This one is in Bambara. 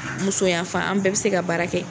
Musoyanfan an bɛɛ bɛ se ka baara kɛ